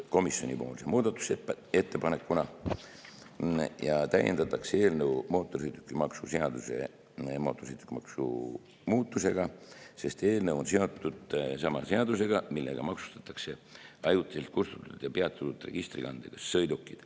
Komisjoni muudatusettepanekuga täiendatakse eelnõu mootorsõidukimaksu seaduse muudatustega, sest eelnõu on seotud sama seadusega, millega maksustatakse ajutiselt kustutatud ja peatatud registrikandega sõidukid.